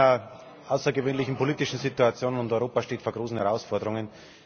Wir sind in einer außergewöhnlichen politischen Situation, und Europa steht vor großen Herausforderungen.